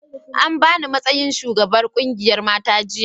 an bani matsayin shugaban ƙungiyar mata jiya